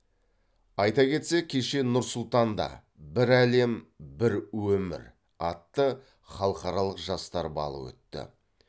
айта кетсек кеше нұр сұлтанда бір әлем бір өмір атты халықаралық жастар балы өтті